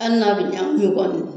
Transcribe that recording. ali n'a be ɲɛ gunubɔ de la